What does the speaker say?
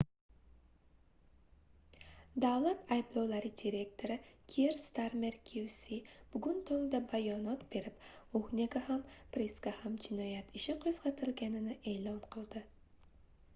davlat ayblovlari direktori kier starmer qc bugun tongda bayonot berib huhnega ham prisga ham jinoyat ishi qoʻzgʻatilganini eʼlon qildi